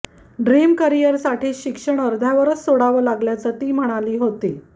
dream करिअरसाठी शिक्षण अर्ध्यावरच सोडावं लागल्याचं ती म्हणाली होती